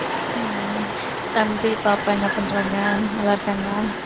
உம் தம்பி பாப்பா என்ன பண்றாங்க நல்லாருக்காங்களா